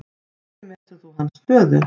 Hvernig metur þú hans stöðu?